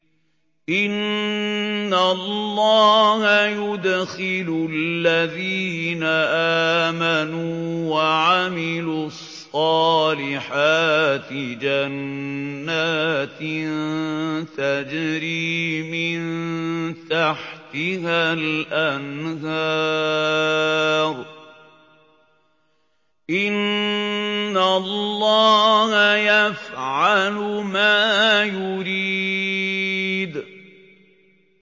إِنَّ اللَّهَ يُدْخِلُ الَّذِينَ آمَنُوا وَعَمِلُوا الصَّالِحَاتِ جَنَّاتٍ تَجْرِي مِن تَحْتِهَا الْأَنْهَارُ ۚ إِنَّ اللَّهَ يَفْعَلُ مَا يُرِيدُ